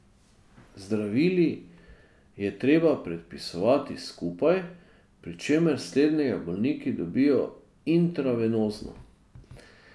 Zdravili je treba predpisovati skupaj, pri čemer slednjega bolniki dobijo intravenozno.